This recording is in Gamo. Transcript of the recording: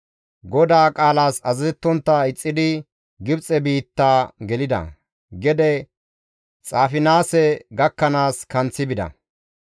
GODAA qaalas azazettontta ixxidi Gibxe biitta gelida; gede Xaafinaase gakkanaas kanththi bida.